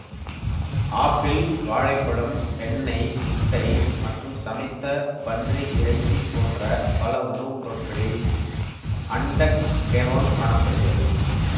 apple வாழை பழம் வெண்ணெய் முட்டை மற்றும் சமைத்த பன்றி இறைச்சி போன்ற பல உணவுப்பொருட்களில் அன்டெக்கேனோல் காண படுகிறது